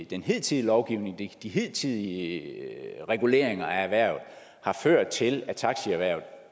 den hidtidige lovgivning og de hidtidige reguleringer af erhvervet har ført til at taxierhvervet